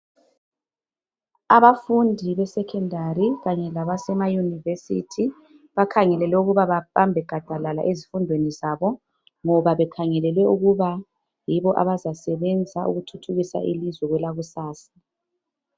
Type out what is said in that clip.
Abafundi besecondary kanye labasema university bakhangelelwe ukuthi babambe gadalala ezifundweni zabo ngoba bakhangelelwe ukuba yibo abazasebenza ukuthuthukisa ilizwe kwelakusasa.